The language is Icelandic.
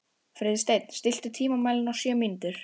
Friðsteinn, stilltu tímamælinn á sjö mínútur.